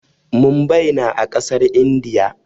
Mumbai na a ƙasar Indiya.